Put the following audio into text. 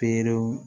Perew